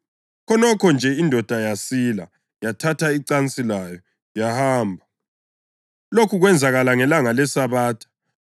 Khonokho nje indoda yasila; yathatha icansi layo yahamba. Lokhu kwenzakala ngelanga leSabatha,